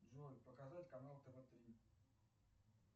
джой показать канал тв три